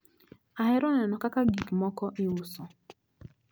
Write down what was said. Ahero neno kaka gikmoko iuso.